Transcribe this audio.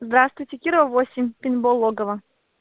здравствуйте кирова восемь пейнтбол логово